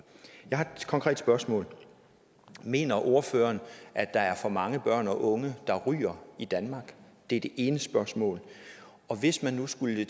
jeg har et konkret spørgsmål mener ordføreren at der er for mange børn og unge der ryger i danmark det er det ene spørgsmål og hvis man nu skulle